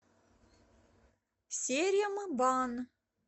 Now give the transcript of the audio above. серембан